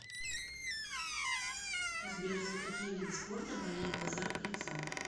сбер за какие виды спорта болеет базаров александр